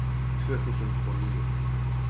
Tvö þúsund og níu